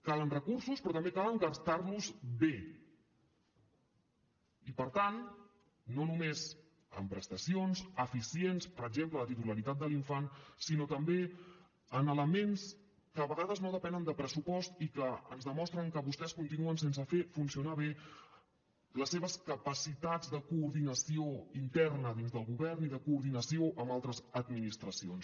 calen recursos però també cal gastar los bé i per tant no només en prestacions eficients per exemple de titularitat de l’infant sinó també en elements que a vegades no depenen de pressupost i que ens demostren que vostès continuen sense fer funcionar bé les seves capacitats de coordinació interna dins del govern i de coordinació amb altres administracions